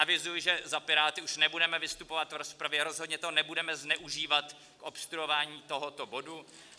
Avizuji, že za Piráty už nebudeme vystupovat v rozpravě, rozhodně to nebudeme zneužívat k obstruování tohoto bodu.